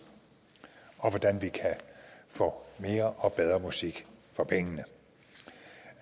og hvordan vi kan få mere og bedre musik for pengene